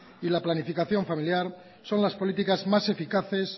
y la planificación familiar son las políticas más eficaces